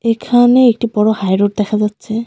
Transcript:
এখানে একটি বড় হাইরোড দেখা যাচ্ছে.